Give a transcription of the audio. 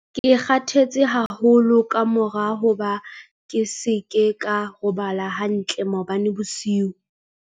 Ke kgathetse haholo ka mora hoba ke se ke ka robala hantle maobane bosiu.